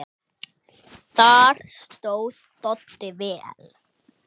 Þar stóð Doddi vel.